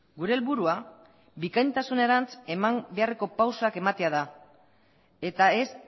gure helburua bikaintasunerantz eman beharreko pausuak ematea da eta ez